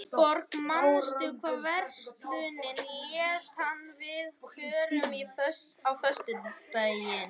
Gunnborg, manstu hvað verslunin hét sem við fórum í á föstudaginn?